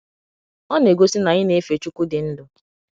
Ọ na - egosi na anyị na - efe Chukwu di ndụ.